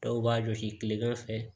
Dɔw b'a jɔsi kilegan fɛ